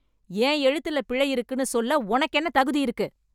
என் எழுத்துல பிழை இருக்குனு சொல்ல உனக்கு என்ன தகுதி இருக்கு?